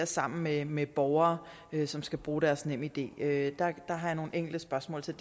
sammen med med borgere som skal bruge deres nemid det har jeg nogle enkelte spørgsmål til